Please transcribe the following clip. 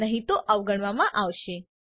નહી તો તે અવગણવામાં આવશે